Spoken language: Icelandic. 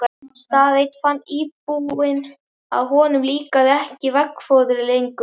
Dag einn fann íbúinn að honum líkaði ekki veggfóðrið lengur.